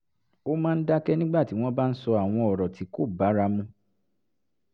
ó máa ń dákẹ́ nígbà tí wọ́n bá ń sọ àwọn ọ̀rọ̀ tí kò bára mu